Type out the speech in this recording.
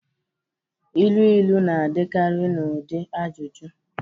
Ilu ilu na-adịkarị n'ụdị ajụjụ